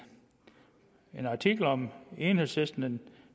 artikel om enhedslisten den